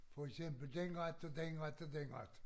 For eksempel den ret og den ret og den ret